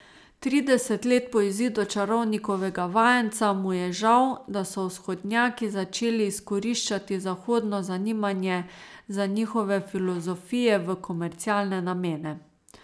Trideset let po izidu Čarovnikovega vajenca mu je žal, da so vzhodnjaki začeli izkoriščati zahodno zanimanje za njihove filozofije v komercialne namene.